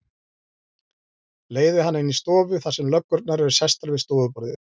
Leiði hana inn í stofu þar sem löggurnar eru sestar við stofuborðið.